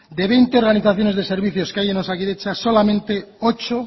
de veinte organizaciones de servicios que hay en osakidetza solamente ocho